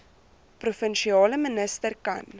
provinsiale minister kan